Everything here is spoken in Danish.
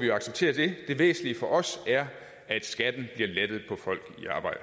vi acceptere det det væsentlige for os er at skatten bliver lettet for folk i arbejde